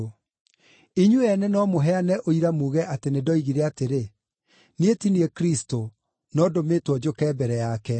Inyuĩ ene no mũheane ũira muuge atĩ nĩndoigire atĩrĩ, ‘Niĩ ti niĩ Kristũ, no ndũmĩtwo njũke mbere yake.’